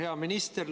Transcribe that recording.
Hea minister!